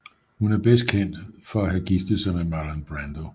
Hun er bedst kendt for at have giftet sig med Marlon Brando